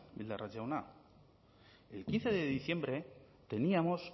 bildarratz jauna el quince de diciembre teníamos